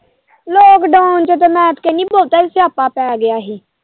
Lockdown ਚ ਤੇ ਮੈਂ ਕਹਿਣੀ ਬਹੁਤਾ ਹੀ ਸਿਆਪਾ ਪੈ ਗਿਆ ਹੀ।